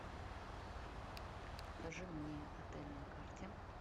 покажи мне отель на карте